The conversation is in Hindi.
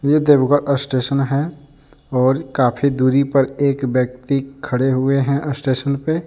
यह देवगा का स्टेशन है और काफी दूरी पर एक व्यक्ति खड़े हुए हैं स्टेशन पे।